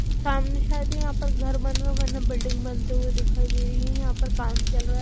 सामने शायद यहां पर घर बना बना बिल्डिंग बनते हुए दिखाई दे रही हैं यहां पर काम चल रहा है।